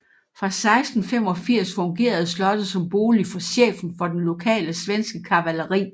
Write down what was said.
Fra 1685 fungerede slottet som bolig for chefen for den lokale svenske kavaleri